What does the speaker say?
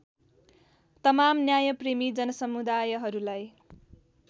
तमाम न्यायप्रेमी जनसमुदायहरूलाई